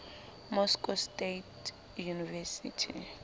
moscow state university